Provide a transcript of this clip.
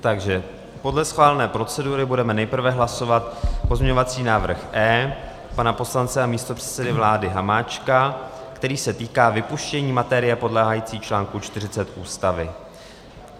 Takže podle schválené procedury budeme nejprve hlasovat pozměňovací návrh E pana poslance a místopředsedy vlády Hamáčka, který se týká vypuštění materie podléhající článku 40 Ústavy.